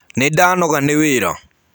Nĩndanoga nĩ wĩra.